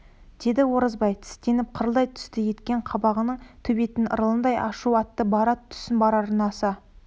деді оразбай тістеніп қырылдай түсті еткен қабаған төбеттің ырылындай ашу атты бара түссін барарына аса